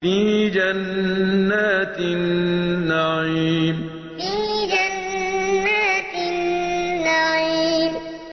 فِي جَنَّاتِ النَّعِيمِ فِي جَنَّاتِ النَّعِيمِ